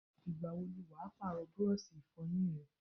Ìgbàwo ni wàá Pààrọ̀ búrọ́ọ̀ṣì Ìfọ̀yín ẹ?